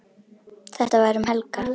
Þetta var um helgar.